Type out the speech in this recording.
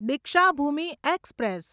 Deekshabhoomi express